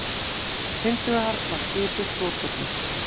Hins vegar var skipuð svokölluð